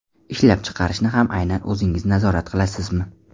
Ishlab chiqarishni ham aynan o‘zingiz nazorat qilasizmi?